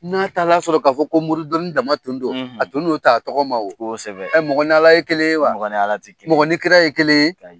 N'a taara sɔrɔ ka fɔ ko mori dɔnni dama tun don , a tun n'o ta tɔgɔ ma wo Ɛɛ mɔgɔ ni Ala ye kelen ye wa? Mɔgɔ ni Ala ti kelen. Mɔgɔ ni kira ye kelen ye? Ayi.